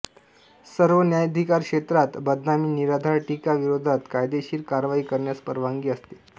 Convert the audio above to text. सर्व न्यायाधिकारक्षेत्रात बदनामी निराधार टीका विरोधात कायदेशीर कारवाई करण्यास परवानगी असते